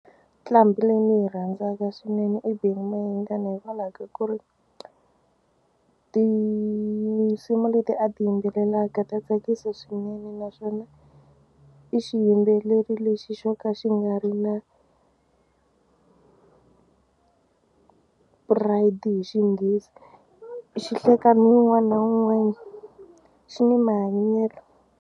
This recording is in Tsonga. Nqambhi leyi ndzi yi rhandzaka swinene i Benny Mayengani hikwalaho ka ku ri tinsimu leti a ti yimbelelaka ta tsakisa swinene naswona i xiyimbeleri lexi xo ka xi nga ri na pride hi xinghezi xi hleka ni wun'wana na wun'wana xi ni mahanyelo.